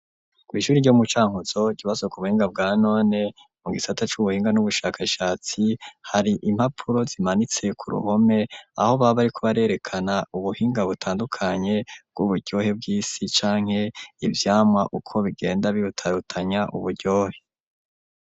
Kw'ishuri iryo mu Cankutzo ikibazo ku buhinga bwa none mu gisata c'ubuhinga n'ubushakashatsi hari impapuro zimanitse ku ruhome aho baba bariko barerekana ubuhinga butandukanye bw'uburyohe bw'isi canke ivyamwa uko bigenda birutarutanya uburyohe.